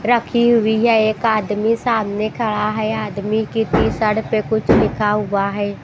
रखी हुई है एक आदमी सामने खड़ा है आदमी की टी शर्ट पे कुछ लिखा हुआ है।